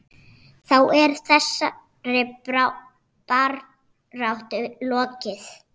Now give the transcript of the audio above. Þá er þessari baráttu lokið.